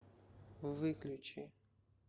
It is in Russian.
выключи